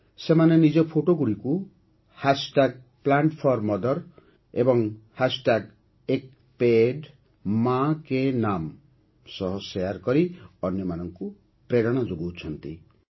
ସେମାନେ ନିଜ ଫଟୋଗୁଡ଼ିକୁ Plant4Mother ଏବଂ ଏକ୍ପପେଡ଼ପମାଁପକେପନାମ୍ ସହ ଶେୟାର୍ କରି ଅନ୍ୟମାନଙ୍କୁ ପ୍ରେରଣା ଯୋଗାଉଛନ୍ତି